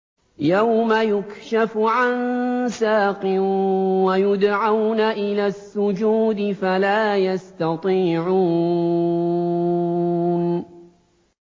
يَوْمَ يُكْشَفُ عَن سَاقٍ وَيُدْعَوْنَ إِلَى السُّجُودِ فَلَا يَسْتَطِيعُونَ